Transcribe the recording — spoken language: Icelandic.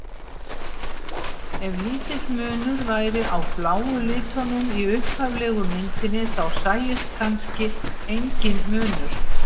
Ef lítill munur væri á bláu litunum í upphaflegu myndinni þá sæist kannski enginn munur.